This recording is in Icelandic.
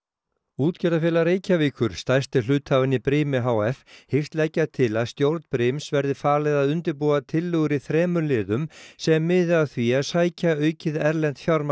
útgerðarfélag Reykjavíkur stærsti hluthafinn í brimi h f hyggst leggja til að stjórn brims verði falið að undirbúa tillögur í þremur liðum sem miði að því að sækja aukið erlent fjármagn